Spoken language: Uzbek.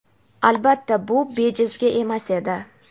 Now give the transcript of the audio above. Albatta, bu bejizga emas edi.